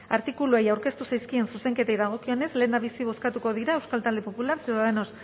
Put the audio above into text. artikuluei aurkeztu zaizkien zuzenketei dagokienez lehendabizi bozkatuko dira euskal talde popularra ciudadanos